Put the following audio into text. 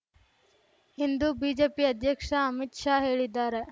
ಎಂದು ಬಿಜೆಪಿ ಅಧ್ಯಕ್ಷ ಅಮಿತ್ ಶಾ ಹೇಳಿದ್ದಾರೆ